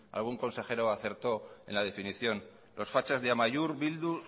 algún consejero acertó en la definición los fachas de amaiur bildu